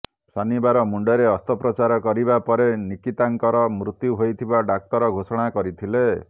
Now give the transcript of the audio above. ଶନିବାର ମୁଣ୍ଡରେ ଅସ୍ତ୍ରୋପଚାର କରିବା ପରେ ନିକିତାଙ୍କର ମୃତ୍ୟୁ ହୋଇଥିବା ଡାକ୍ତର ଘୋଷଣା କରିଥିଲେ